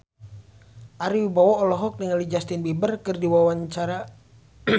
Ari Wibowo olohok ningali Justin Beiber keur diwawancara